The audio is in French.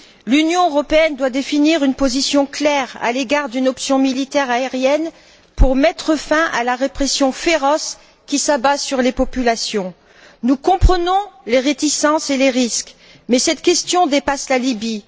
L'Union européenne doit définir une position claire à l'égard d'une option militaire aérienne pour mettre fin à la répression féroce qui s'abat sur les populations. Nous comprenons les réticences et les risques mais cette question dépasse la Libye.